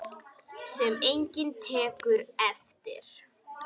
Sem enginn tekur eftir.